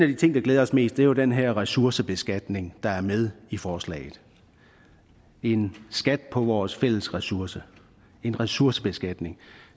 de ting der glæder os mest er jo den her ressourcebeskatning der er med i forslaget en skat på vores fælles ressource en ressourcebeskatning